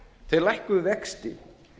þeir lækkuðu vexti